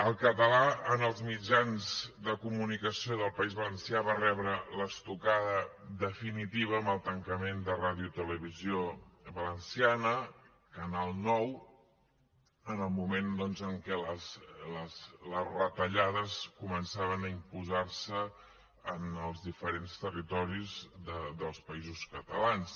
el català en els mitjans de comunicació del país valencià va rebre l’estocada definitiva amb el tancament de radiotelevisió valenciana canal nou en el moment doncs en què les retallades començaven a imposar se en els diferents territoris dels països catalans